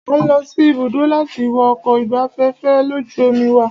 A ń lọ sí ibùdó láti wo ọkọ̀ ìgbafẹ́fẹ́ lójú omi wa.